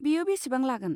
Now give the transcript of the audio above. बेयो बेसेबां लागोन?